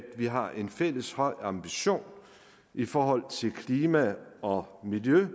vi har en fælles høj ambition i forhold til klima og miljø